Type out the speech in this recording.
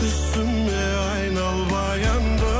түсіме айнал баянды